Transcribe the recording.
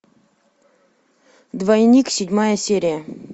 двойник седьмая серия